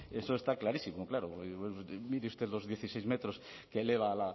eso está clarísimo claro mire usted los dieciséis metros que eleva